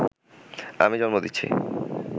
আমি জন্ম দিছি